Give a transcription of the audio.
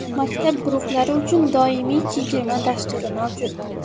Maktab guruhlari uchun doimiy chegirma dasturi mavjud.